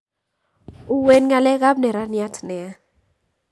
Uwen ngalek kap neraniat nia